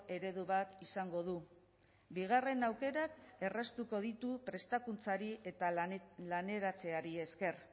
eredu bat izango du bigarren aukerak erraztuko ditu prestakuntzari eta laneratzeari esker